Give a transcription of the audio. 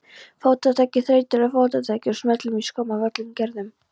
Fótataki, þreytulegu fótataki og smellum í skóm af öllum gerðum.